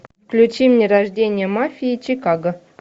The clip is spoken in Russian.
включи мне рождение мафии чикаго